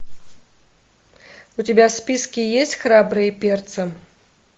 у тебя в списке есть храбрые перцы